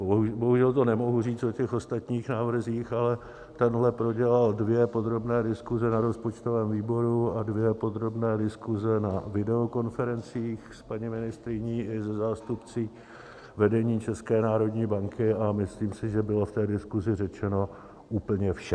Bohužel to nemohu říct o těch ostatních návrzích, ale tenhle prodělal dvě podrobné diskuze na rozpočtovém výboru a dvě podrobné diskuze na videokonferencích s paní ministryní i se zástupci vedení České národní banky a myslím si, že bylo v té diskuzi řečeno úplně vše.